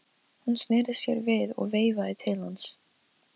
Ertu búin að ráða þig sem ráðskonu í sveit?